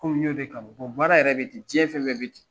Komi n y'o de kanu baara yɛrɛ bɛ ten diɲɛ fɛn bɛɛ bɛ ten.